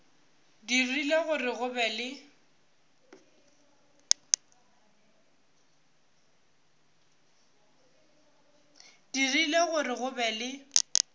dirile gore go be le